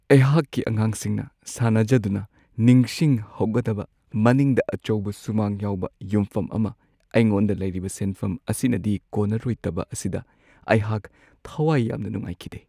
ꯑꯩꯍꯥꯛꯀꯤ ꯑꯉꯥꯡꯁꯤꯡꯅ ꯁꯥꯟꯅꯖꯗꯨꯅ ꯅꯤꯡꯁꯤꯡꯍꯧꯒꯗꯕ ꯃꯅꯤꯡꯗ ꯑꯆꯧꯕ ꯁꯨꯃꯥꯡ ꯌꯥꯎꯕ ꯌꯨꯝꯐꯝ ꯑꯃ ꯑꯩꯉꯣꯟꯗ ꯂꯩꯔꯤꯕ ꯁꯦꯟꯐꯝ ꯑꯁꯤꯅꯗꯤ ꯀꯣꯟꯅꯔꯣꯏꯗꯕ ꯑꯁꯤꯗ ꯑꯩꯍꯥꯛ ꯊꯋꯥꯏ ꯌꯥꯝꯅ ꯅꯨꯡꯉꯥꯏꯈꯤꯗꯦ ꯫